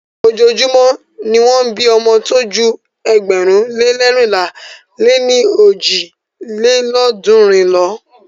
Ojoojúmọ́ ni won ń bí ọmọ tó ju ėgbẹ̀rún lé leérinlá lé ní ojì lélọ́ọ̀dúnrún lo.